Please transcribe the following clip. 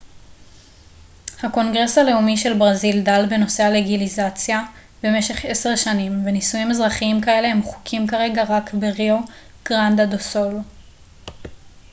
הקונגרס הלאומי של ברזיל דן בנושא הלגליזציה במשך 10 שנים ונישואים אזרחיים כאלה הם חוקיים כרגע רק בריו גרנדה דו סול